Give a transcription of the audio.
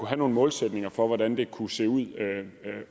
have nogle målsætninger for hvordan det kunne se ud